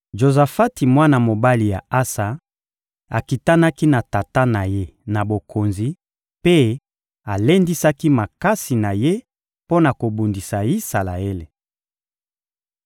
Jozafati, mwana mobali ya Asa, akitanaki na tata na ye na bokonzi mpe alendisaki makasi na ye mpo na kobundisa Isalaele.